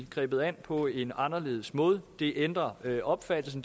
grebet an på en anderledes måde det ændrer opfattelsen